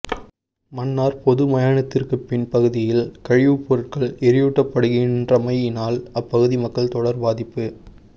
மன்னார் பொது மாயனத்திற்கு பின் பகுதியில் கழிவுப்பொருட்கள் எறியூட்டப்படுகின்றமையினால் அப்பகுதி மக்கள் தொடர் பாதிப்பு